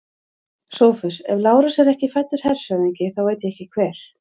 SOPHUS: Ef Lárus er ekki fæddur hershöfðingi, þá veit ég ekki hver.